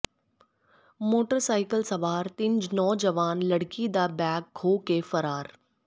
motorcycle ਸਵਾਰ ਤਿੰਨ ਨੌਜਵਾਨ ਲੜਕੀ ਦਾ ਬੈਗ ਖੋਹ ਕੇ ਫ਼ਰਾਰ